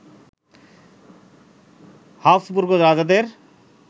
Habsburg রাজাদের